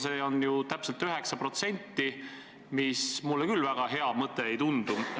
See on ju täpselt 9%, mis mulle küll väga hea mõte ei tundu.